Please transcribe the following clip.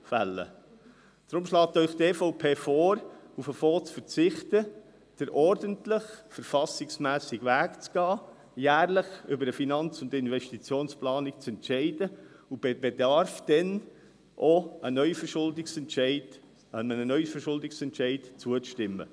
– Deswegen schlägt Ihnen die EVP vor, auf den Fonds zu verzichten, den ordentlichen, verfassungsmässigen Weg zu gehen, jährlich über eine Finanz- und Investitionsplanung zu entscheiden und dann bei Bedarf einem Neuverschuldungsentscheid zuzustimmen.